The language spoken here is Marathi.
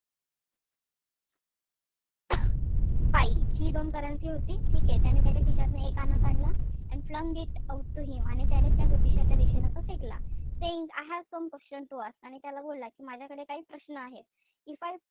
पाई हि दोन currency होती. ठीकेय? त्याने त्याच्या खिशातनं एक आणा काढला. And flunged it out to him आणि त्याने त्या ज्योतिषाच्या दिशेनं तो फेकला. Saying I have some questions to ask आणि त्याला बोलला कि माझ्याकडे काही प्रश्न आहेत. If I,